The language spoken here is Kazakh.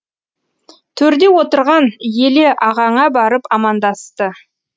төрде отырған еле ағаңа барып амандасты